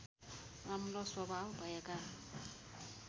राम्रो स्वभाव भएका